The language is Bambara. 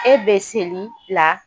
E bɛ seli la